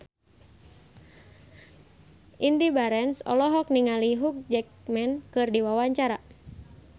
Indy Barens olohok ningali Hugh Jackman keur diwawancara